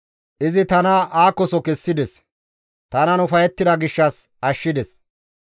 Izi tana aakoso kessides; tanan ufayettida gishshas izi ashshides.